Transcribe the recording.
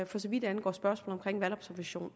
for så vidt angår spørgsmål om valgobservation